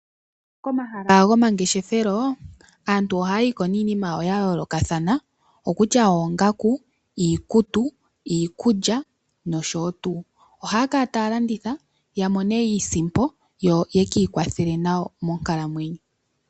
Komahala gomangeshefelo aantu ohayayi ko niinima yayo yayoolokathana kutya oongaku, iikutu, iikulya nosho tuu. Ohaya kala taya landitha yamone iisimpo yo ye kiikwathele nayo monkalamwenyo.